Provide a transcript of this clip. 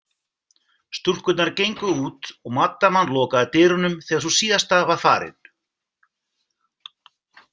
Stúlkurnar gengu út og maddaman lokaði dyrunum þegar sú síðasta var farin.